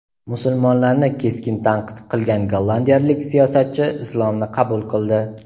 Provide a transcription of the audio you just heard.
Musulmonlarni keskin tanqid qilgan gollandiyalik siyosatchi islomni qabul qildi.